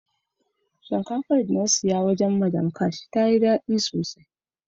Shinkafan da na siya a wajen " madam ash" ya yi dadi sosai.